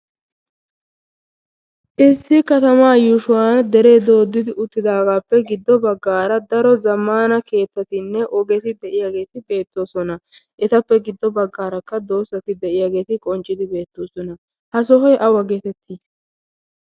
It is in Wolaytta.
issi katamaa yuushshuwaan dere doodi uttagappe giddo baggara daro zamman keettatinne ogeti de'iyaaggeti beettoosona. etappe giddo baggarakka daro doozati de'iyaageeti beettoosona. ha sohoy aawa geetetti?